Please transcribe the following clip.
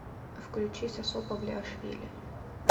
включи сосо павлиашвили